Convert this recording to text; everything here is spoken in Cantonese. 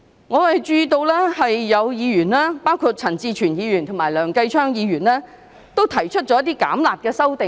我注意到有議員，包括陳志全議員及梁繼昌議員，均提出一些"減辣"的修正案。